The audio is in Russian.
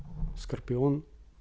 скорпион